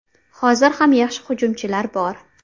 Hozir ham yaxshi hujumchilar bor.